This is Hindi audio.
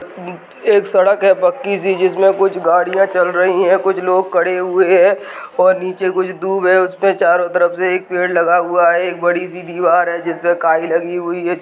नि एक सड़क है पक्की सी जिसमें कुछ गाडिया चल रही है कुछ लोग खड़े हुए है और नीचे कुछ दूब है उसने चारो तरफ से एक पेड़ लगा हुआ है एक बड़ी सी दीवार है जिसपे काई लगी हुई है जि।